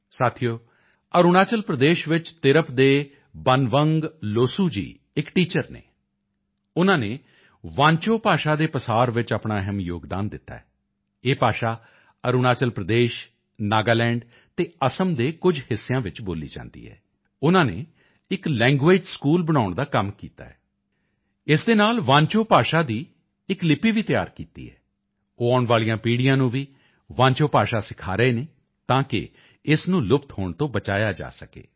ਸਾਥੀਓ ਅਰੁਣਾਚਲ ਪ੍ਰਦੇਸ਼ ਵਿੱਚ ਤਿਰਪ ਦੇ ਬਨਵੰਗ ਲੋਸੂ ਜੀ ਇਕ ਟੀਚਰ ਹਨ ਉਨ੍ਹਾਂ ਨੇ ਵਾਂਚੋ ਭਾਸ਼ਾ ਦੇ ਪ੍ਰਸਾਰ ਵਿੱਚ ਆਪਣਾ ਅਹਿਮ ਯੋਗਦਾਨ ਦਿੱਤਾ ਹੈ ਇਹ ਭਾਸ਼ਾ ਅਰੁਣਾਚਲ ਪ੍ਰਦੇਸ਼ ਨਾਗਾਲੈਂਡ ਅਤੇ ਅਸਮ ਦੇ ਕੁਝ ਹਿੱਸਿਆਂ ਵਿੱਚ ਬੋਲੀ ਜਾਂਦੀ ਹੈ ਉਨ੍ਹਾਂ ਨੇ ਇਕ ਲੈਂਗਵੇਅਜ਼ ਸਕੂਲ ਬਣਾਉਣ ਦਾ ਕੰਮ ਕੀਤਾ ਹੈ ਇਸ ਦੇ ਨਾਲ ਵਾਂਚੋ ਭਾਸ਼ਾ ਦੀ ਇਕ ਲਿਪੀ ਵੀ ਤਿਆਰ ਕੀਤੀ ਹੈ ਉਹ ਆਉਣ ਵਾਲੀਆਂ ਪੀੜ੍ਹੀਆਂ ਨੂੰ ਵੀ ਵਾਂਚੋ ਭਾਸ਼ਾ ਸਿਖਾ ਰਹੇ ਹਨ ਤਾਂ ਕਿ ਇਸ ਨੂੰ ਲੁਪਤ ਹੋਣ ਤੋਂ ਬਚਾਇਆ ਜਾ ਸਕੇ